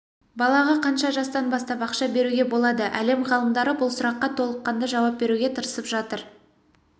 балаға қанша жастан бастап ақша беруге болады әлем ғалымдары бұл сұраққа толыққанды жауап беруге тырысып жатыр